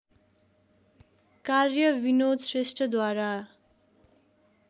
कार्य विनोद श्रेष्ठद्वारा